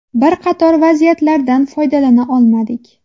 Bir qator vaziyatlardan foydalana olmadik.